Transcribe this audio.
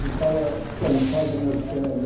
Ficava descansado nas